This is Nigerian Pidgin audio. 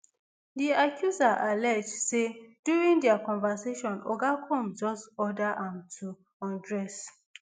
di accuser allege say during dia conversation oga combs just order am to undress